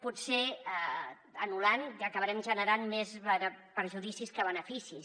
potser anul·lant acabarem generant més perjudicis que beneficis